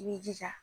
I b'i jija